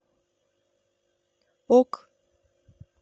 ок